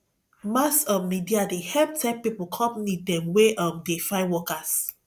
mass um media dey help tell pipo company dem wey um dey find workers